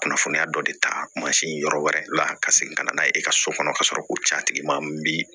Kunnafoniya dɔ de ta mansin yɔrɔ wɛrɛ la ka segin ka na n'a ye i ka so kɔnɔ ka sɔrɔ k'o ca tigi ma bi